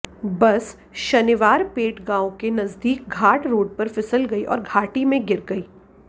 बस शानिवारपेट गांव के नजदीक घाट रोड पर फिसल गयी और घाटी में गिर गयी